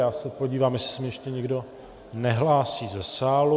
Já se podívám, jestli se mi ještě někdo nehlásí ze sálu.